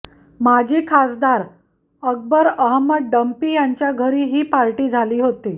माजी खासदार अकबर अहमद डंपी यांच्या घरी ही पार्टी झाली होती